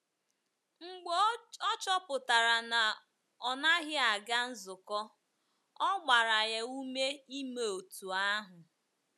Mgbe ọ chọpụtara na ọ naghị aga nzukọ, ọ gbara ya ume ime otú ahụ.